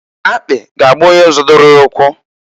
Akpị ga-agba onye zodoro ya ukwu,.